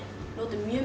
notum mjög